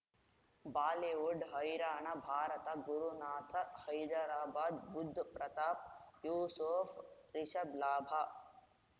Bollywood ಹೈರಾಣ ಭಾರತ ಗುರುನಾಥ ಹೈದರಾಬಾದ್ ಬುಧ್ ಪ್ರತಾಪ್ ಯೂಸುಫ್ ರಿಷಬ್ ಲಾಭ